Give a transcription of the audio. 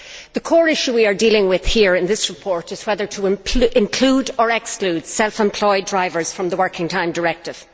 The core issue we are dealing with here in this report is whether to include, or exclude, self employed drivers from the Working Time Directive.